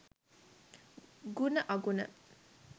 ගුණ අගුණ